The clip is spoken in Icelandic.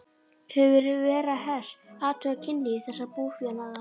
Hefur Vera Hess athugað kynlíf þessa búfénaðar?